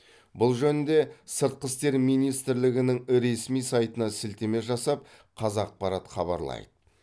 бұл жөнінде сыртқы істер министрлігінің ресми сайтына сілтеме жасап қазақпарат хабарлайды